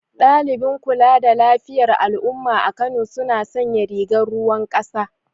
Daliɓin kula da lafiyar al'umma a Kano suna sanya rigar ruwan ƙasa